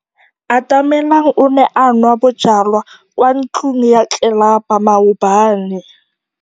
Atamelang o ne a nwa bojwala kwa ntlong ya tlelapa maobane.